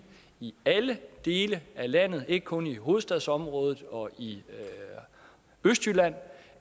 i alle dele af landet ikke kun i hovedstadsområdet og i østjylland